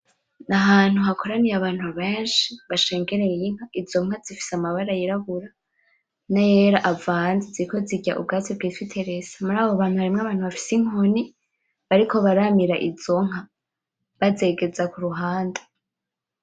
Ahantu hakoraniye abantu benshi bashengeriye inka. Izo nka zifise amabara y'irabura n'ayera avanze. Ziriko zirya ubwatsi bw'ifitirisa. Muri abo bantu harimwo abantu bafise inkoni, bariko baramira izo nka bazegeza ku ruhande.